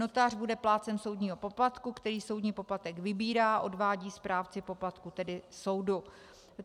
Notář bude plátcem soudního poplatku, který soudní poplatek vybírá, odvádí správci poplatku, tedy soudu.